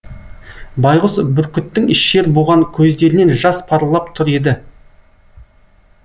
байғұс бүркіттің шер буған көздерінен жас парлап тұр еді